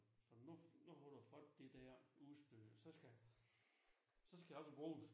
For nu nu holder folk det der udstød og så skal så skal jeg også bruges